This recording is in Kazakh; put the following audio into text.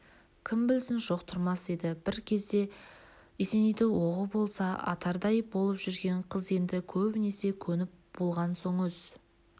кім білсін жоқ тұрмас еді бір кезде есенейді оғы болса атардай болып жүрген қыз енді көнбесіне көніп болған соң өз